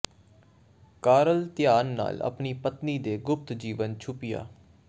Karl ਧਿਆਨ ਨਾਲ ਆਪਣੀ ਪਤਨੀ ਦੇ ਗੁਪਤ ਜੀਵਨ ਛੁਪਿਆ